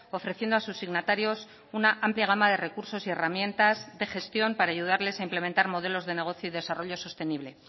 ofreciendo a sus signatarios una amplia gama de recursos y herramientas de gestión para ayudarles a implementar modelos de negocio y desarrollo sostenible